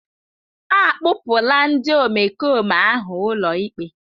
Akpụpụla ndị omekome ahụ ụlọikpe.